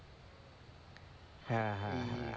হ্যাঁ হ্যাঁ হ্যাঁ,